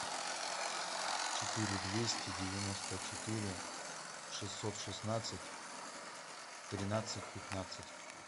четыре двести девяносто четыре шестьсот шестнадцать тринадцать пятнадцать